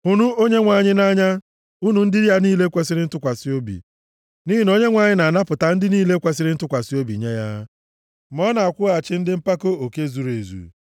Hụnụ Onyenwe anyị nʼanya, unu ndị ya niile kwesiri ntụkwasị obi, nʼihi na Onyenwe anyị na-anapụta ndị niile kwesiri ntụkwasị obi nye ya, ma ọ na-akwụghachi ndị mpako oke zuru ezu.